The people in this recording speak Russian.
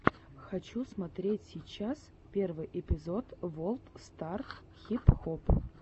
хочу смотреть сейчас первый эпизод волд стар хип хоп